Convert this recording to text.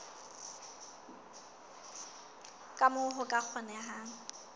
ka moo ho ka kgonehang